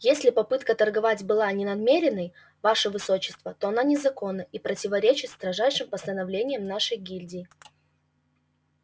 если попытка торговать была не намеренной ваше высочество то она незаконна и противоречит строжайшим постановлениям нашей гильдии